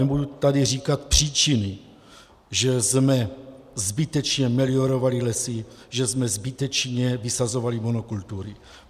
Nebudu tady říkat příčiny, že jsme zbytečně meliorovali lesy, že jsme zbytečně vysazovali monokultury.